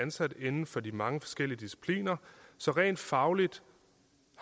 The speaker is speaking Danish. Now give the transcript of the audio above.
ansat inden for de mange forskellige discipliner så rent fagligt